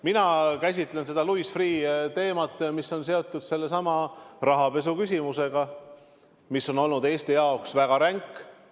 Mina käsitlen Louis Freeh' teemat sellest küljest, mis on seotud rahapesu küsimusega, mis on Eesti jaoks väga ränk olnud.